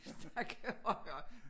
Snakke højere